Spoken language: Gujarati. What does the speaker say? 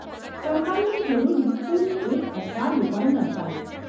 કડકાઈની જરૂરી પૂરી એક અઠવાડિયું પણ ન ચાલી.